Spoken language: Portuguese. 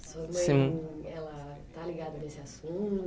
Sua mãe, ela tá ligada nesse